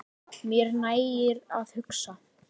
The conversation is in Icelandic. Mér nægir að hugsa.